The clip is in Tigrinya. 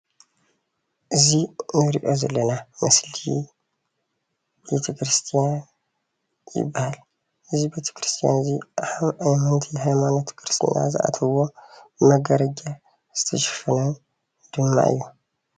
እዚ እንሪኦ ዘለና ምስሊ ቤተክርስትያን ይባሃል፡፡ እዚ ቤተክርስትያን እዚ ኣመንቲ ሃይማኖት ክርስትና ዝኣትዉዎን ብመጋረጃ ዝተሸፈነ ድማ እዩ፡፡